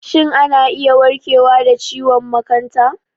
Shin ana iya warkewa da ciwon makanta?